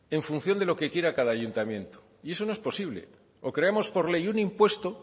en función de lo que quiera cada ayuntamiento y eso no es posible o creamos por ley un impuesto